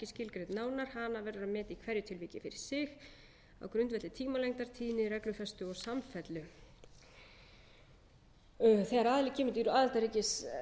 skilgreind nánar hana verður að meta í hverju tilviki fyrir sig á grundvelli tímalengdar tíðni reglufestu og samfellu þegar aðili kemur til aðildarríkis